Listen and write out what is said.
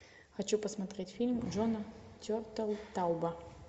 хочу посмотреть фильм джона тертелтауба